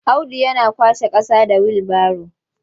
Audu yana kwashe ƙasa da wilbaro.